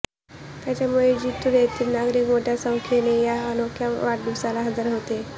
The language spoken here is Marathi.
त्यामुळे जिंतूर येथील नागरिक मोठ्या संख्येने या अनोख्या वाढदिवसाला हजर होते